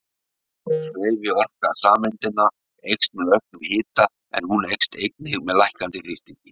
Hreyfiorka sameindanna eykst með auknum hita en hún eykst einnig með lækkandi þrýstingi.